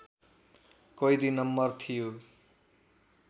कैदी नम्बर थियो